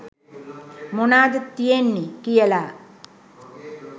මොනාද තියෙන්නෙ කියලා.